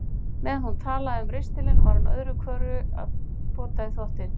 Meðan hún talaði um ristilinn var hún öðru hverju að pota í þvottinn.